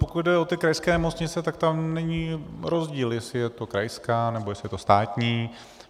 Pokud jde o ty krajské nemocnice, tak tam není rozdíl, jestli je to krajská, nebo jestli je to státní.